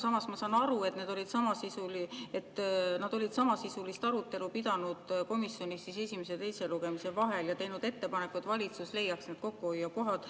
Samas ma saan aru, et nad olid samasisulist arutelu pidanud komisjonis esimese ja teise lugemise vahel ja teinud ettepaneku, et valitsus leiab sealt kokkuhoiukohad.